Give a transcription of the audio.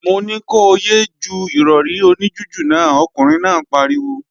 Mo ní ko yé é ju Ìrọ̀rí oní jújù náà, ọkùnrin náà pariwo!